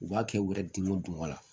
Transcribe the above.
U b'a kɛ u yɛrɛ diminen don wa